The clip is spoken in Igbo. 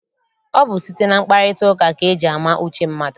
Ọ bụ site na mkparịtaụka ka eji ama uche mmadụ.